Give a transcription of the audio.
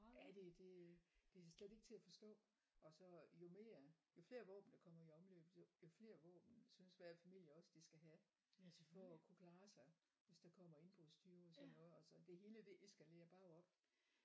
Ja det det det er slet ikke til at forstå og så jo mere jo flere våben der kommer i omløb jo jo flere våben synes hver familie også de skal have for at kunne klare sig hvis der kommer indbrudstyve og sådan noget og så det hele det eskalerer bare op